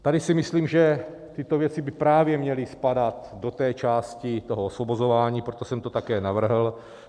Tady si myslím, že tyto věci by právě měly spadat do té části toho osvobozování, proto jsem to také navrhl.